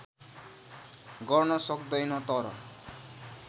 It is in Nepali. गर्न सक्दैन तर